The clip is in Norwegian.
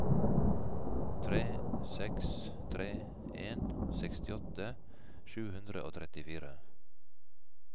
tre seks tre en sekstiåtte sju hundre og trettifire